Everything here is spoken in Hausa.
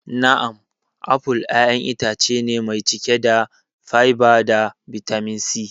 Na'am, apple ƴaƴan itace ne mai cike da fiber da bitamin C.